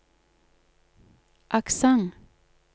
aksent